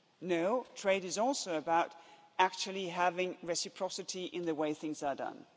No, trade is also about actually having reciprocity in the way things are done.